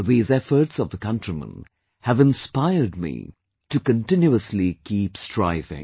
These efforts of the countrymen have inspired me to continuously keep striving